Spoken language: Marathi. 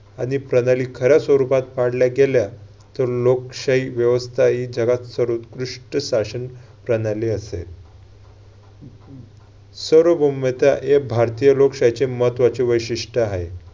आणि प्रणाली खऱ्या स्वरूपात पाडल्या गेल्या तर लोकशाही व्यवस्था ही जगात सर्वोतकृष्ट शासन प्रणाली असेल. सर्व हे भारतीय लोकशाहीचे महत्त्वाचे वैशिष्ट्य आहे.